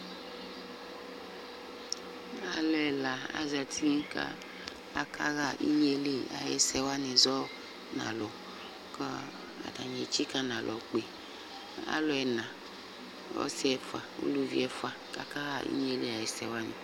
Alʋ ɛla azati kʋ akaɣa inye yɛ li ayʋ ɛsɛ wanɩ zɔ nʋ alʋ kʋ atanɩ etsikǝ nʋ alɔ kpe alʋ ɛna: ɔsɩ ɛfʋa, uluvi ɛfʋa kʋ akaɣa inye yɛ li ayʋ ɛsɛ wanɩ